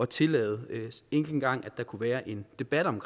tillade ikke engang at der kunne være en debat om